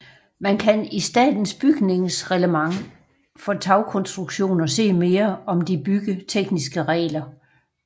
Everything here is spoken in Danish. Man kan i statens bygningsreglement for tagkonstruktioner se mere om de byggetekniske regler